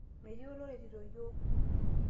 metii oloretito iyiok